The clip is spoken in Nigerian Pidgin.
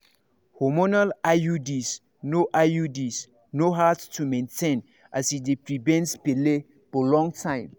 hormonal iuds no iuds no hard to maintain as e dey prevent belle for long time.